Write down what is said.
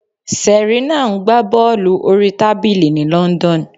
Serena ń gbá bọ́ọ̀lù orí tábìlì ní London.